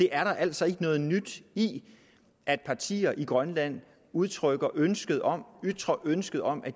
er altså ikke noget nyt i at partier i grønland udtrykker ønske om ønske om at